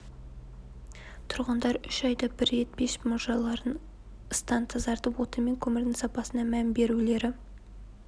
тұрғындар үш айда бір рет пеш мұржаларын ыстан тазартып отын мен көмірдің сапасына мән берулері